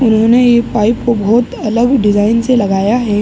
इन्होने एक पाइप को बहुत अलग डिज़ाइन से लगाया है।